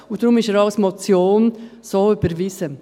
Deshalb ist er auch als Motion so überwiesen.